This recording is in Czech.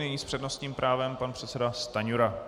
Nyní s přednostním právem pan předseda Stanjura.